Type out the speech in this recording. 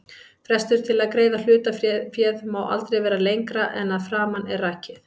Frestur til að greiða hlutaféð má aldrei vera lengra en að framan er rakið.